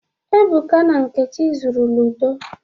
Ebuka na Nkechi zuru ludo.